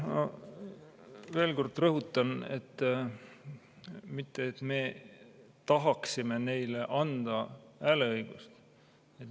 Veel kord rõhutan, et me tahaksime neile hääleõigust anda.